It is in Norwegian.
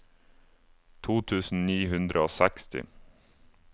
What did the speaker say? to tusen ni hundre og seksti